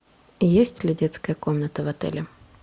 есть ли детская комната в отеле